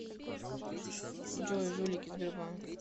джой жулики сбербанк